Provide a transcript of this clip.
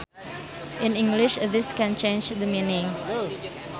In English this can change the meaning